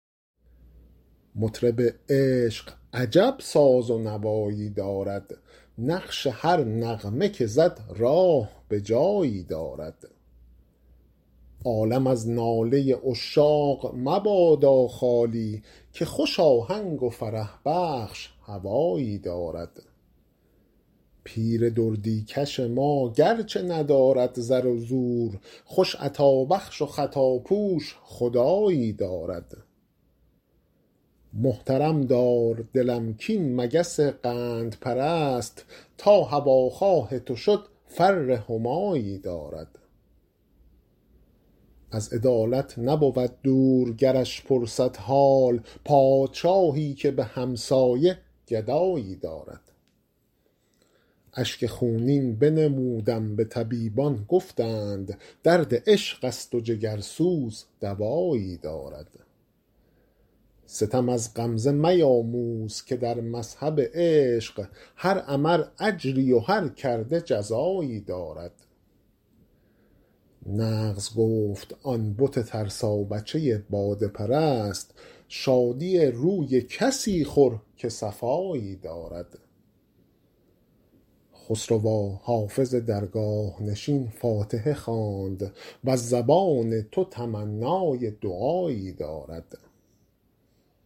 مطرب عشق عجب ساز و نوایی دارد نقش هر نغمه که زد راه به جایی دارد عالم از ناله عشاق مبادا خالی که خوش آهنگ و فرح بخش هوایی دارد پیر دردی کش ما گرچه ندارد زر و زور خوش عطابخش و خطاپوش خدایی دارد محترم دار دلم کاین مگس قندپرست تا هواخواه تو شد فر همایی دارد از عدالت نبود دور گرش پرسد حال پادشاهی که به همسایه گدایی دارد اشک خونین بنمودم به طبیبان گفتند درد عشق است و جگرسوز دوایی دارد ستم از غمزه میاموز که در مذهب عشق هر عمل اجری و هر کرده جزایی دارد نغز گفت آن بت ترسابچه باده پرست شادی روی کسی خور که صفایی دارد خسروا حافظ درگاه نشین فاتحه خواند وز زبان تو تمنای دعایی دارد